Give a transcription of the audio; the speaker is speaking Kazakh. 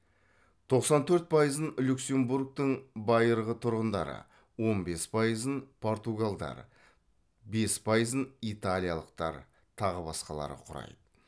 тоқсан төрт пайызын люксембургтің байырғы тұрғындары он бес пайызын португалдар бес пайызын италиялықтар тағы басқалары құрайды